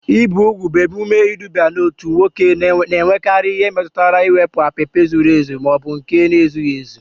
Ibi úgwù bụ emume iduba n'otu nwoke na-enwekarị nke metụtara iwepụ apịpị zuru ezu ma ọ bụ nke zuru ezu.